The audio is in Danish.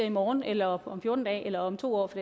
i morgen eller om fjorten dage eller om to år for